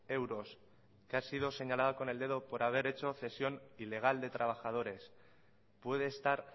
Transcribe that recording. euros que ha sido señalada con el dedo por haber hecho cesión ilegal de trabajadores puede estar